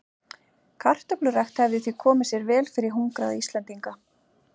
Kartöflurækt hefði því komið sér vel fyrir hungraða Íslendinga.